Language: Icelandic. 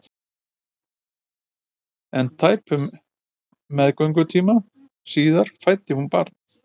En tæpum meðgöngutíma síðar fæddi hún barn.